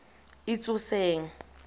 itsoseng